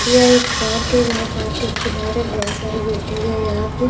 ये एक पार्क है जहां पार्क के किनारे बहुत सारी बिल्डिंग है यहां पे --